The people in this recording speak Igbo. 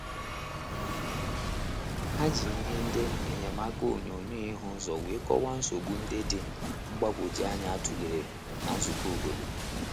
Ha ji ihe ndi enyemaka onyonyo ihu uzo wee kọwaa nsogbu nde dị mgbanwoju anya a tụlere na nzukọ obodo.